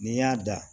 N'i y'a da